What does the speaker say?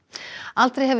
aldrei hefur